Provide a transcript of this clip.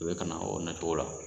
U bɛ ka na o nacogo la